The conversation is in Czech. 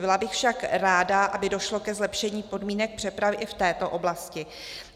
Byla bych však ráda, aby došlo ke zlepšení podmínek přepravy i v této oblasti.